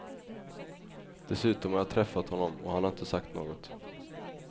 Dessutom har jag träffat honom och han har inte sagt något.